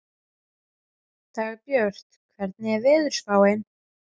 Dagbjörg, hvernig er veðurspáin?